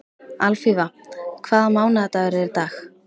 Alfífa, hvaða mánaðardagur er í dag?